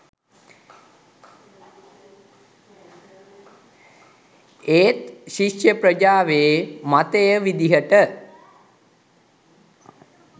ඒත් ශිෂ්‍ය ප්‍රජාවේ මතය විදිහට